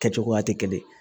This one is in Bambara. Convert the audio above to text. Kɛcogoya tɛ kelen ye